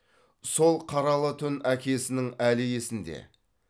сол қаралы түн әкесінің әлі есінде